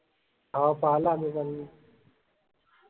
हाओ पाहल आम्ही पन